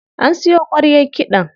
An siyo ƙwaryar kiɗan.